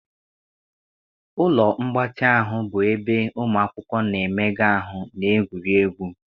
Ụlọ mgbatị ahụ bụ ebe ụmụ akwụkwọ na-emega ahụ na egwuregwu.